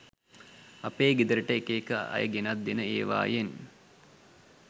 අපේ ගෙදරට එක එක අය ගෙනත් දෙන එවායෙන්